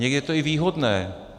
Někdy to je i výhodné.